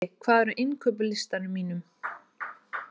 Frissi, hvað er á innkaupalistanum mínum?